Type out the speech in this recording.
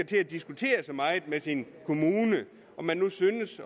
til at diskutere så meget med sin kommune om den nu synes